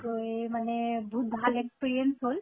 তে মানে বহুত ভাল experience হʼল